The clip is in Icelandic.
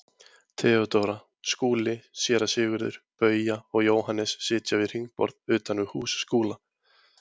Theodóra, Skúli, Séra Sigurður, Bauja og Jóhannes sitja við hringborð utan við hús Skúla.